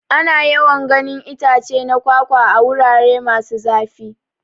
Ana yawan ganin itace na kwakwa a. wurare masu zafi.